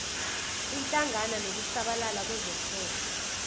ihlangana nokusabalala kwezohwebo